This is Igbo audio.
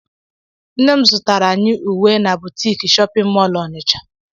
Nne m zụtara anyị ùwé na butiki shóppin mol onicha.